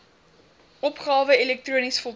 opgawe elektronies voltooi